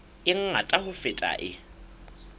e ngata ho feta e